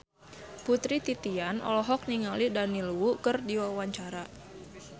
Putri Titian olohok ningali Daniel Wu keur diwawancara